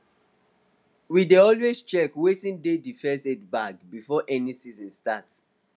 we dey always check wetin dey d first aid bag before any season start